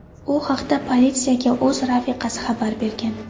U haqda politsiyaga o‘z rafiqasi xabar bergan.